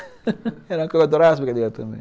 Era uma que eu adorava as brincadeiras também.